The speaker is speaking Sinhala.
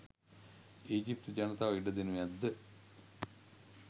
ඊජිප්තු ජනතාව ඉඩ දෙනු ඇද්ද?